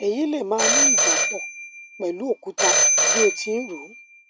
èyí lè máà ní ìjápọ pẹlú òkúta bí o ti ń rò